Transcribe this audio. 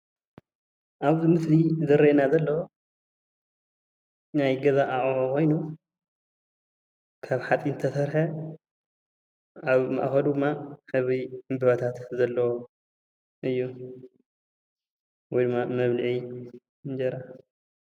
አብዚ ምስሊ ዝረአየና ዘሎ ናይ ገዛ አቅሑት ኮይኑ ካብ ሓፂን ዝተሰረሐ አብ ማእከሉ መቀብኢ ንጥረታት ዘለዎ እዩ። ወይ ድማ መብልዒ እንጀራ።